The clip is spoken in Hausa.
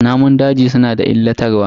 Namun daji suna da illatarwa.